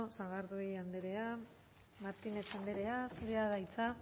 sagardui andrea martínez andrea zurea da hitza